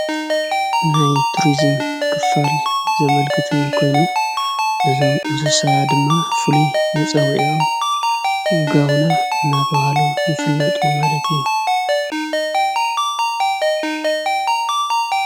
ናይ ቱርስም ክፋል ዘመልግቲ ኮይኑ ንስሳዓ ድማ ፍሉ መጸውዮም ጋውና እናተውሃሉ ይፍለጡ ማለት እዩ።